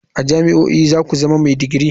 A jami'o'i za ku zama mai digiri.